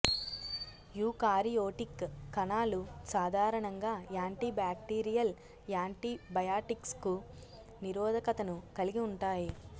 eukaryotic కణాలు సాధారణంగా anti bacterial యాంటీబయాటిక్స్కు నిరోధకతను కలిగి ఉంటాయి